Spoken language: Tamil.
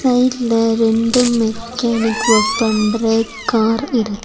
சைடுல ரெண்டு மெக்கேனிக் ஒர்க் பண்ற கார் இரு--